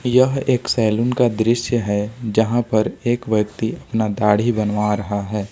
यह एक सैलून का दृश्य है जहां पर एक व्यक्ति अपना दाढ़ी बनवा रहा है।